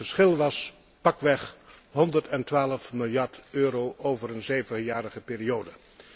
Het verschil was pakweg 112 miljard euro over een zevenjarige periode.